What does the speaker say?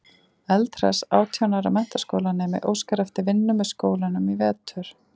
Eldhress átján ára menntaskólanemi óskar eftir vinnu með skólanum í vetur.